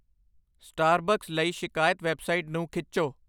Starbucks ਲਈ ਸ਼ਿਕਾਇਤ website ਨੂੰ ਖਿੱਚੋ